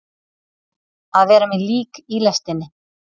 Að vera með lík í lestinni